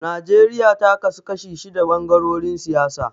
Najeriya ta kasu kashi shida ɓangarorin siyasa.